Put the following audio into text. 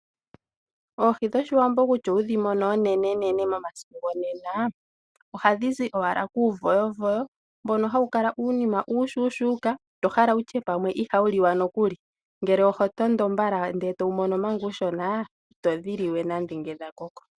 Oohi dhoshiwambo nando wudhi mone oonenenee omasiku go nena, ohadhi zi owala kuuvoyovoyo, mboka hawu kala uunima uushushuka, oto kala wutye ihawu liwa nokuli, ngele oho tondo eto wu mono manga uushona, ito dhili ngele dha koko.